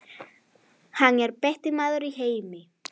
Hann er besti maður í heimi.